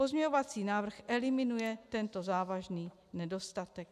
Pozměňovací návrh eliminuje tento závažný nedostatek.